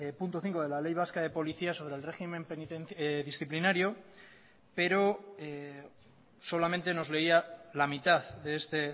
punto cinco de la ley vasca de policías sobre el régimen disciplinario pero solamente nos leía la mitad de este